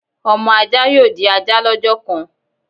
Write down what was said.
Ọmọ ajá yóò di ajá lọ́jọ́ kan